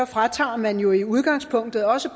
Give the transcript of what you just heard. fratager man jo i udgangspunktet også